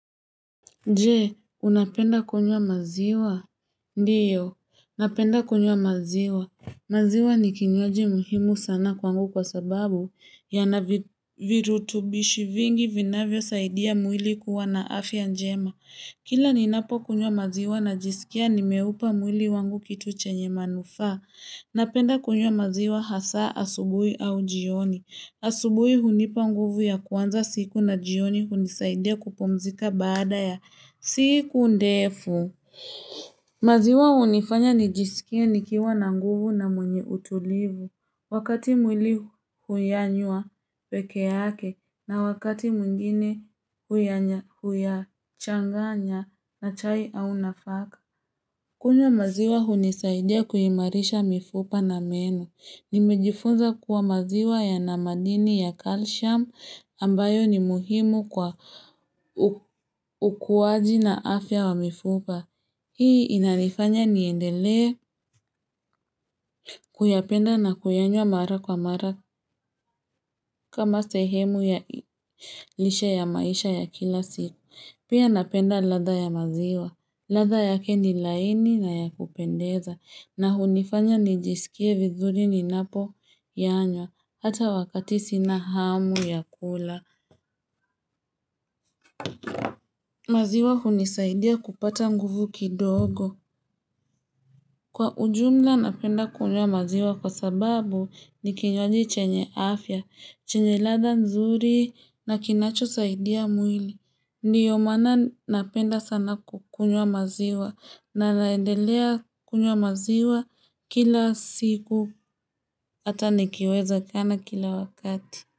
Je, unapenda kunywa maziwa? Ndiyo, napenda kunywa maziwa. Maziwa ni kinywaji muhimu sana kwangu kwa sababu yana virutubishi vingi vinavyosaidia mwili kuwa na afya njema. Kila ninapokunywa maziwa najisikia nimeupa mwili wangu kitu chenye manufaa. Napenda kunywa maziwa hasa asubuhi au jioni. Asubuhi hunipa nguvu ya kuanza siku na jioni hunisaidia kupumzika baada ya siku ndefu. Maziwa hunifanya nijisikie nikiwa na nguvu na mwenye utulivu. Wakati mwili huyanywa peke yake na wakati mwingine huyachanganya na chai au nafaka. Kunywa maziwa hunisaidia kuimarisha mifupa na meno. Nimejifunza kuwa maziwa yana madini ya kalsiamu ambayo ni muhimu kwa ukuaji na afya wa mifupa Hii inanifanya niendelee kuyapenda na kuyanywa mara kwa mara kama sehemu ya lishe ya maisha ya kila siku Pia napenda ladha ya maziwa, ladha yake ni laini na ya kupendeza na hunifanya nijisikie vizuri ninapoyanywa, hata wakati sina hamu ya kula. Maziwa hunisaidia kupata nguvu kidogo. Kwa ujumla napenda kunywa maziwa kwa sababu ni kinywaji chenye afya, chenye ladha nzuri na kinachosaidia mwili. Ndio maana napenda sana kukunywa maziwa na naendelea kunywa maziwa kila siku hata nikiwezakana kila wakati.